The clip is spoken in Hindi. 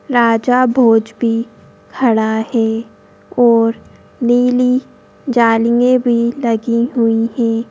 राजा भोज भी खड़ा है और नीली जालियें भी लगी हुई हैं।